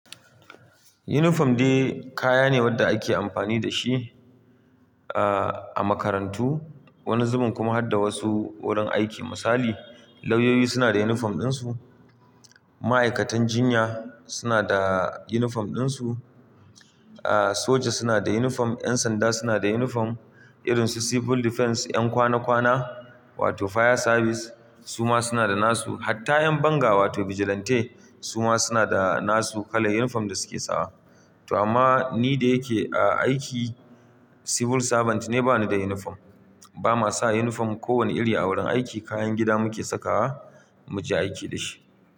Uniform dai kaya ne wanda ake amfani da shi, uh, a makarantu wani zuben kuma har da wasu wurin aiki. Misali, lauyoyi suna da uniform din su, ma'aikatan jinya suna da uniform din su, uh, soja suna da uniform, 'yan sanda suna da uniform, irin su civil defense, 'yan kwana kwana wato fire service su ma suna da nasu. Hatta 'yan banga wato vigilante su ma suna da nasu kalar uniform da suke sawa. To amma ni da yake a aiki civil servant ne bani da uniform. Ba ma sa uniform kowane iri a wurin aiki kayan gida muke saka muje aiki da shi.